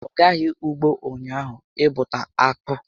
Ọ gaghị ụgbọ ụnyaahụ ịbụta akpụ